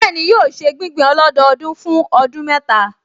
Bẹ́ẹ̀ni, yóò ṣe gbígbìn ọlọ́dọọdún fún ọdún mẹ́ta